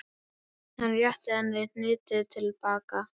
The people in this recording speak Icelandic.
Hann rétti henni hnýtið til baka.